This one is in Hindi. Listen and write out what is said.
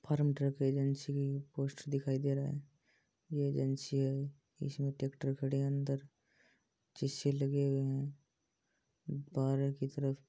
फार्म ट्रैक एजेंसी का पोस्टर दिखाई दे रहा है ये एजेंसी है इसमें ट्रैक्टर खड़े है अंदर शीशे लगे है। बारे की तरफ --